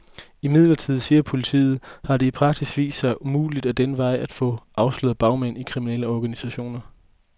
Imidlertid, siger politiet, har det i praksis vist sig umuligt ad den vej at få afsløret bagmænd i kriminelle organisationer.